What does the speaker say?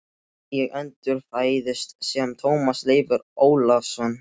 Ég endurfæðist sem Tómas Leifur Ólafsson.